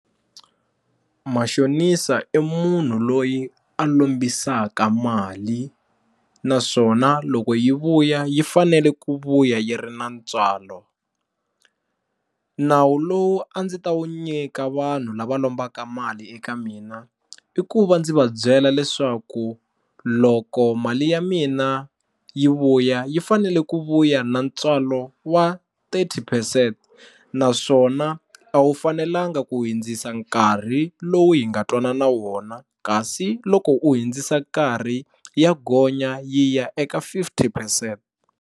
Mashonisa i munhu loyi a lombisaka mali naswona loko yi vuya yi fanele ku vuya yi ri na ntswalo, nawu lowu a ndzi ta wu nyika vanhu lava lombaka mali eka mina i ku va ndzi va byela leswaku loko mali ya mina yi vuya yi fanele ku vuya na ntswalo wa thirty percent naswona a wu fanelanga ku hundzisa nkarhi lowu hi nga twanana wona kasi loko u hundzisa nkarhi ya gonya yi ya eka fifty percent.